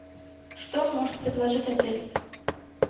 что может предложить отель